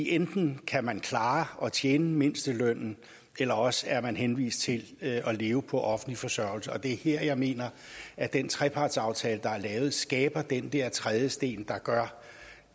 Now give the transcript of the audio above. enten kan man klare at tjene mindstelønnen eller også er man henvist til livet på offentlig forsørgelse og det er her jeg mener at den trepartsaftale der er lavet skaber den der trædesten der gør